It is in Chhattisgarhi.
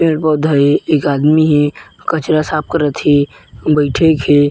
पेड़-पौधा हे एक आदमी हे कचरा साफ करा थे बईठे क हे।